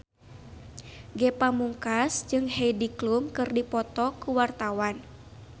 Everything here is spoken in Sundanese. Ge Pamungkas jeung Heidi Klum keur dipoto ku wartawan